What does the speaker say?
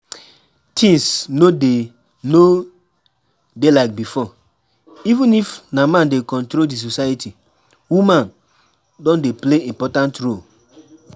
Things no dey no dey like before, even if na man dey control di society, woman don dey play important role